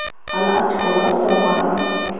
Hali ochkolar jamg‘aramiz.